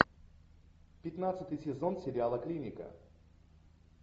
пятнадцатый сезон сериала клиника